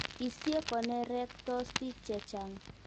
Isie konerektos piik che chang'.